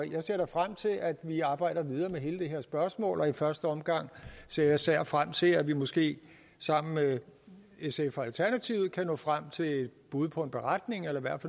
jeg ser frem til at vi arbejder videre med hele det her spørgsmål i første omgang ser jeg især frem til at vi måske sammen med sf og alternativet kan nå frem til et bud på en beretning eller i hvert